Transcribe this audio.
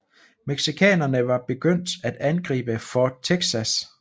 Mexicanerne var begyndt at angribe Fort Texas